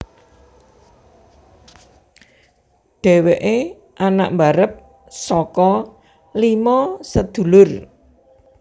Dhèwèké anak mbarep saka lima sedulur